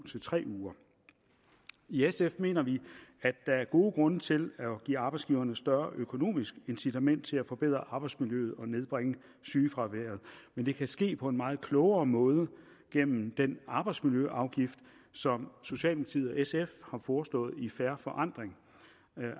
til tre uger i sf mener vi at der er god grund til at give arbejdsgiverne større økonomisk incitament til at forbedre arbejdsmiljøet og nedbringe sygefraværet men det kan ske på en meget klogere måde gennem den arbejdsmiljøafgift som socialdemokratiet og sf har foreslået i fair forandring